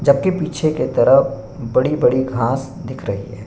जबकि पीछे के तरफ बड़ी-बड़ी घास दिख रही है।